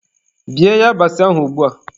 Bie yabasị ahụ ugbua!